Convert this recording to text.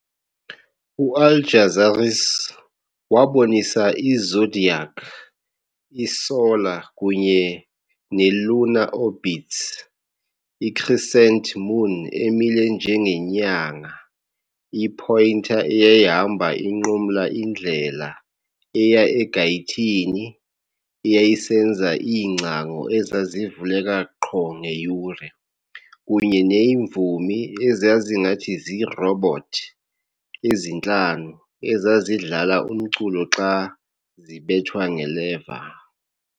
u-Al - Jazari's waabonisa i-zodiac, i-solar kunye ne-lunar orbits, i-crescent moon emile njengenyanga i-pointer eyayihamba inqumla indlela eya egayithini eyayisenza iingcango ezazivuleka qho ngeyure, kunye neemvumi ezazingathi zirobots ezintlanu ezazidlala umculo xa zibethwa nge-lever.